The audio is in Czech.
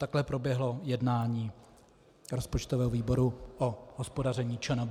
Takhle proběhlo jednání rozpočtového výboru o hospodaření ČNB.